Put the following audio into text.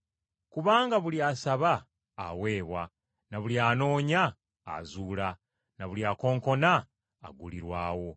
Kubanga buli asaba aweebwa, n’oyo anoonya, azuula, n’oyo akonkona aggulirwawo.”